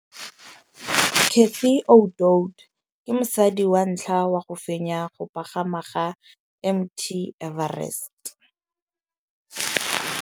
Cathy Odowd ke mosadi wa ntlha wa go fenya go pagama ga Mt Everest.